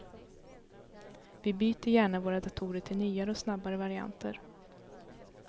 Vi byter gärna våra datorer till nyare och snabbare varianter.